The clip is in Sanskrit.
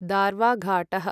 दार्वाघाटः